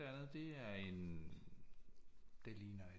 Andet det er en det ligner en